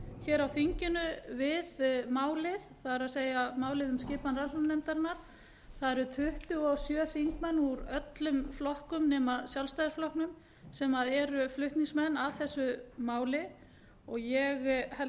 hér á þinginu við málið það er málið um skipan rannsóknarnefndarinnar það eru tuttugu og sjö þingmenn úr öllum flokkum nema sjálfstæðisflokknum sem eru flutningsmenn að þessu máli og ég held